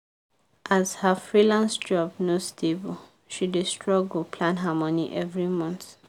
as her freelance job no stable she dey struggle plan her money every month.